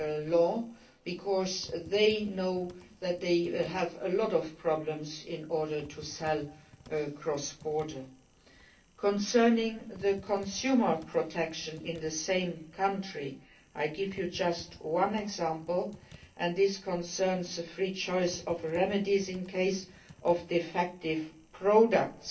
new law, because they know that they face many problems in selling across borders. Concerning consumer protection in the same country, I will give you just one example, and this concerns the free choice of remedies in case of defective products.